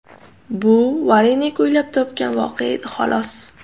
Bu Varenik o‘ylab topgan voqea edi, xolos.